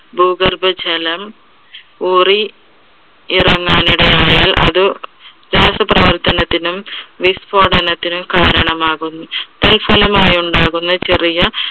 ഭൂഗർഭ ജലം ഊറി ഇറങ്ങാൻ ഇടയായാൽ അത് രാസപ്രവർത്തനത്തിനും മിസ്‌ഫോടനത്തിനും കാരണമാകുന്നു. തൽഫലമായി ഉണ്ടാകുന്ന ചെറിയ